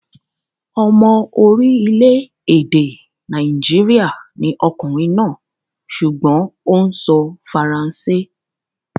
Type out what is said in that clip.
Ọmọ orílẹ̀-èdè Nàìjíríà ni ọkùnrin náà sùgbọ́n ó ń sọ faransé.